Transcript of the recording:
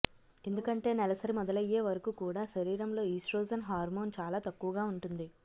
ఎందుకంటే నెలసరి మొదలయ్యే వరకు కూడా శరీరంలో ఈస్ట్రోజన్ హార్మోన్ చాలా తక్కువగా ఉంటుంది